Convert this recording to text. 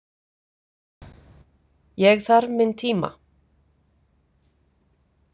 Ég þarf minn tíma.